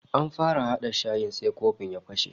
An fara hada shayi sai kofin ya fashe